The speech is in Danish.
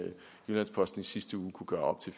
jyllands posten sidste uge kunne gøre op til